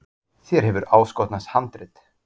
Þér hefur áskotnast handrit.